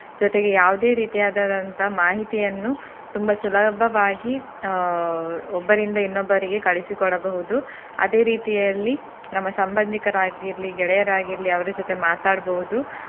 ಜೊತೆಗೆ ಯಾವುದೇ ರೀತಿಯಾದಂತ ಮಾಹಿತಿಯನ್ನು ತುಂಬ ಸುಲಭವಾಗಿ ಅಹ್ ಒಬ್ಬರಿಂದ ಇನ್ನೊಬ್ಬರಿಗೆ ಕಳಿಸಿ ಕೊಡಬಹುದು. ಅದೇ ರೀತಿಯಲ್ಲಿ ನಮ್ಮ ಸಂಬಂಧಿಕರಾಗಿರ್ಲಿ ಗೆಳಯರಾಗಿರ್ಲಿ ಅವರ ಜೊತೆ ಮಾತಾಡ್ಬಹುದು.